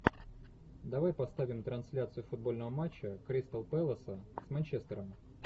давай поставим трансляцию футбольного матча кристал пэласа с манчестером